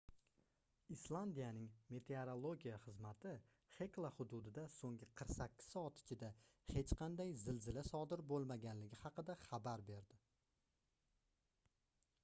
islandiyaning meteorologiya xizmati xekla xududida soʻnggi 48 soat ichida hech qanday zilzila sodir boʻlmaganligi haqida xabar berdi